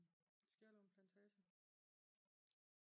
I Skjellerup plantage